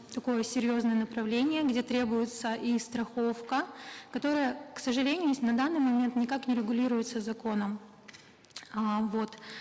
такое серьезное направление где требуется и страховка которая к сожалению на данный момент никак не регулируется законом э вот